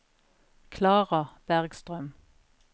Klara Bergstrøm